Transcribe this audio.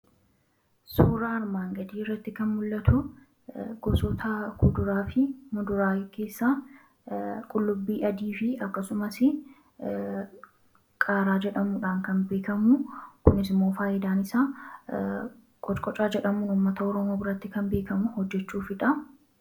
suura armaan gadii irratti kan mul'atu gosota kuduraa fi muduraa keessa qullubbii adii fi akkasumas qaaraa jedhamuudhaan kan beekamu kunisimmoo faayidaan isaa qocqocaa jedhamuun ummata orooma biratti kan beekamu hojjechuu fidha